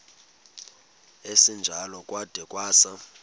esinjalo kwada kwasa